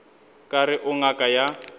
ka re o ngaka ya